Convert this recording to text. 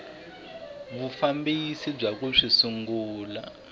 vufambisi bya ku swi sungula